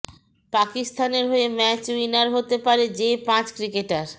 পাকিস্তানের হয়ে match winner হতে পারে যে পাঁচ ক্রিকেটার